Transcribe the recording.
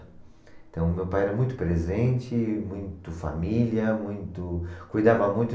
Então, meu pai era muito presente, muito família, muito... cuidava muito.